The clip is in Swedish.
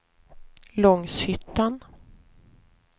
Långshyttan